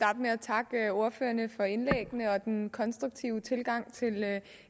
med at takke ordførerne for indlæggene og den konstruktive tilgang til